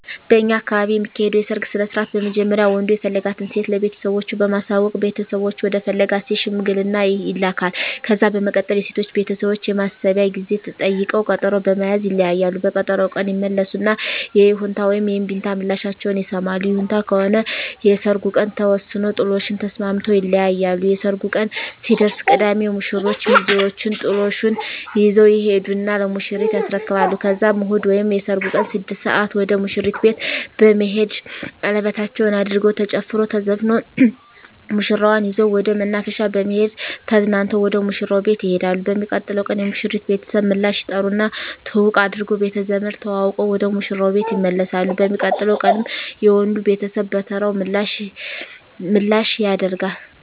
በእኛ አካባቢ የሚካሄደዉ የሰርግ ስነስርአት በመጀመሪያ ወንዱ የፈለጋትን ሴት ለቤተሰቦቹ በማሳወቅ ቤተሰቦቹ ወደ ፈለጋት ሴት ሽማግሌ ይላካል። ከዛ በመቀጠል የሴቶቹ ቤተሰቦች የማሰቢያ ጊዜ ጠይቀዉ ቀጠሮ በመያዝ ይለያያሉ። በቀጠሮዉ ቀን ይመለሱና የይሁንታ ወይም የእምቢታ ምላሻቸዉን ይሰማሉ። ይሁንታ ከሆነ የሰርጉ ቀን ተወስኖ ጥሎሹን ተስማምተዉ ይለያያሉ። የሰርጉ ቀን ሲደርስ ቅዳሜ የሙሽሮቹ ሚዜወች ጥሎሹን ይዘዉ ይሄዱና ለሙሽሪት ያስረክባሉ ከዛም እሁድ ወይም የሰርጉ ቀን 6 ሰአት ወደ ሙሽሪት ቤት በመሄድ ሸለበታቸዉን አድርገዉ ተጨፍሮ ተዘፍኖ ሙሽራዋን ይዘዉ ወደ መናፈሻ በመሄድ ተዝናንተዉ ወደ ሙሽራዉ ቤት ይሄዳሉ። በሚቀጥለዉ ቀን የሙሽሪት ቤተሰብ ምላሽ ይጠሩና ትዉዉቅ አድርገዉ ቤተዘመድ ተዋዉቀዉ ወደ ሙሽራዉ ቤት ይመለሳሉ። በሚቀጥለዉ ቀንም የወንዱ ቤተሰብ በተራዉ ምላሽ ያደ